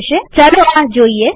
ચાલો આ જોઈએ